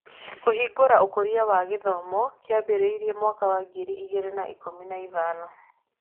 Kũhingũra Ũkũria na Gĩthomo kĩambĩrĩirie mwaka wa ngiri igĩrĩ na ikũmi na ithano.